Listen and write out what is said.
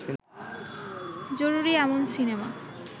জরুরী এমন সিনেমা